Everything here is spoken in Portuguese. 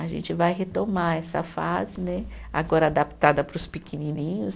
A gente vai retomar essa fase né, agora adaptada para os pequenininhos.